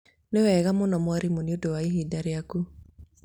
nĩwega mũno mwarimũ nĩũndũ wa ihinda rĩaku